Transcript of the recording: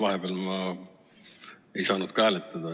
Vahepeal ma ei saanud ka hääletada.